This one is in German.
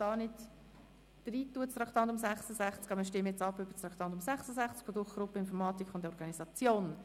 Wir können das Traktandum nicht elektronisch abbilden, aber wir stimmen nun darüber ab.